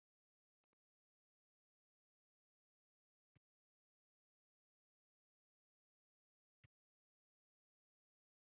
Hann tók kökuhnífinn og byrjaði að skera.